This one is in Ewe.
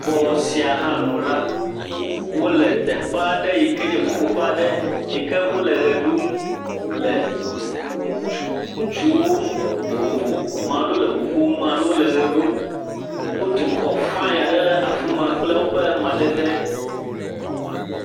Bɔ sia hã nu la, wole teƒe aɖe si nye ƒoƒoƒe aɖe yi ke wole ʋe ɖum, le ŋutsu ŋutsuwo mm…, vovovo maɖewo le ŋu ƒom maɖewo le ʋe ɖum, Wotu xɔ faiŋ aɖe ɖe afi ma kple woƒe madede.